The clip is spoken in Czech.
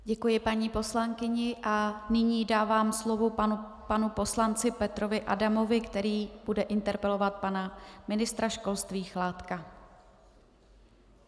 Děkuji paní poslankyni a nyní dávám slovo panu poslanci Petrovi Adamovi, který bude interpelovat pana ministra školství Chládka.